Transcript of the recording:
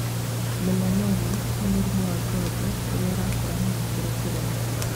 Melannoma nĩ mũrimũ wa ngothi ũrĩa ũrakũra na gĩkĩro kĩnene